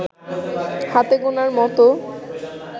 হাতে গোনার মতো